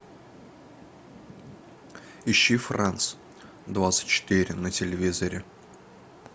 ищи франц двадцать четыре на телевизоре